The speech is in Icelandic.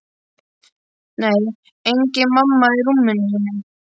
Nei, engin mamma í rúminu sínu.